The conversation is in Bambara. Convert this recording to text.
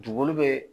Dugukolo be